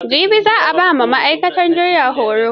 Jibi za a ba wa ma'aikatan jiyyar horo.